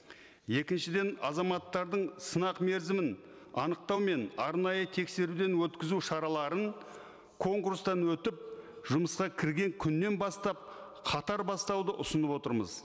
екіншіден азаматтардың сынақ мерзімін анықтау мен арнайы тексеруден өткізу шараларын конкурстан өтіп жұмысқа кірген күнінен бастап қатар бастауды ұсынып отырмыз